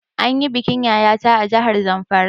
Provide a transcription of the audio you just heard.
An yi bikin Yaya ta a jahar Zamfara